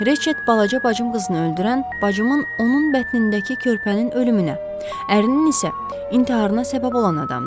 Reçet balaca bacım qızını öldürən, bacımın onun bətnindəki körpənin ölümünə, ərinin isə intiharına səbəb olan adamdır.